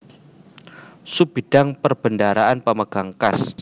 Sub Bidang Perbendaharaan Pemegang kas